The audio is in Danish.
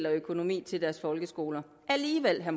af økonomi til deres folkeskoler alligevel har